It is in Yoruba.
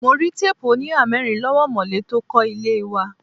Mo rí teepu onihamerin lọ́wọ́ omole tó kó ilé wa.